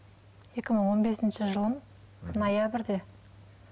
екі мың он бесінші жылы ноябрьде